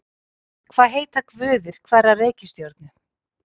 Hvað heita guðir hverrar reikistjörnu?